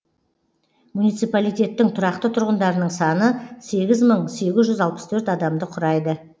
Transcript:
муниципалитеттің тұрақты тұрғындарының саны сегіз мың сегіз жүз алпыс төрт адамды құрайды